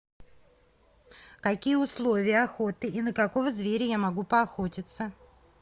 какие условия охоты и на какого зверя я могу поохотиться